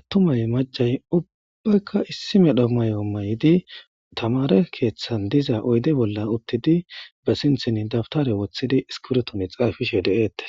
attumay macay ubbaykka issi medho mayo may'idi tamare keeththan diza oyde bolla uttidi ba sinthin dabtare wothidi iskiretoni xaafishe deeettes.